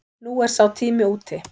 Nú er sá tími úti.